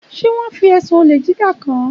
Ṣé wọ́n fi ẹ̀sùn olè jíjà kàn án?